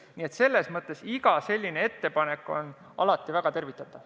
Nii et iga ettepanek on väga tervitatav.